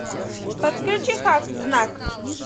подключи хак знак